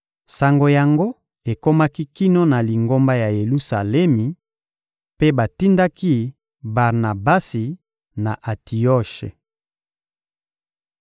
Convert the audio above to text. Sango yango ekomaki kino na Lingomba ya Yelusalemi, mpe batindaki Barnabasi, na Antioshe.